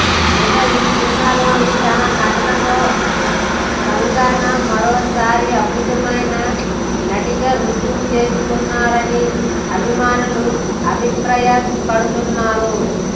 ఇక ఈ సినిమాలోని తన నటనతో కంగనా మరోసారి అద్భుతమైన నటిగా రుజువు చేసుకోనున్నారని అభిమానులు అభిపప్రాయపడుతున్నారు